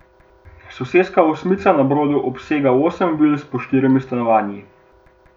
Soseska Osmica na Brodu obsega osem vil s po štirimi stanovanji.